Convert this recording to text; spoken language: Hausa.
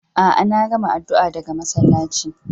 Aa, na gamma addu'a daga masallaci.